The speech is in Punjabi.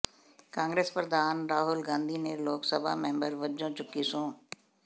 ਕਾਂਗਰਸ ਪ੍ਰਧਾਨ ਰਾਹੁਲ ਗਾਂਧੀ ਨੇ ਲੋਕ ਸਭਾ ਮੈਂਬਰ ਵਜੋਂ ਚੁੱਕੀ ਸਹੁੰ